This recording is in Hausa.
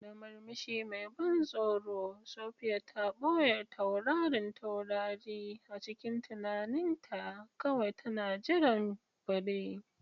Da murmushi mai ban tsoro, Sophia ta ɓoye taurarin taurari a cikin tunaninta, kawai tana jiran fure.